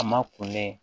A ma kulen